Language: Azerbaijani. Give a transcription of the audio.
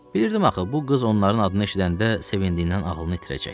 Bilirdim axı bu qız onların adını eşidəndə sevindiyindən ağlını itirəcək.